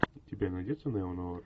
у тебя найдется неонуар